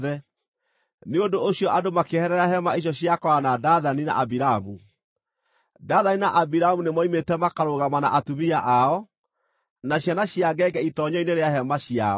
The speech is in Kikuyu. Nĩ ũndũ ũcio andũ makĩeherera hema icio cia Kora na Dathani na Abiramu. Dathani na Abiramu nĩ moimĩte makarũgama na atumia ao, na ciana cia ngenge itoonyero-inĩ rĩa hema ciao.